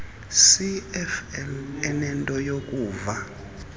cfl enento yokuva